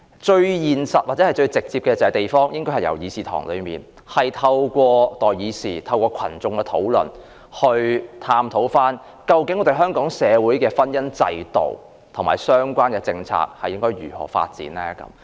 最現實或最直接的做法，應該由地方開始討論，即透過代議士在議事堂內討論，或由群眾自行討論，以探討香港社會的婚姻制度及相關政策應如何發展。